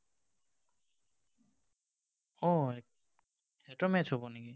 অ, সিহঁতৰ match হব নেকি?